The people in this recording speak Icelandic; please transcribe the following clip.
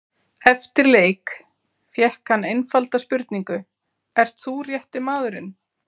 Eftir leik fékk hann einfalda spurningu, ert þú rétti maðurinn?